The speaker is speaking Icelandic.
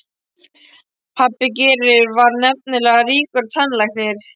Pabbi Geirs var nefnilega ríkur tannlæknir.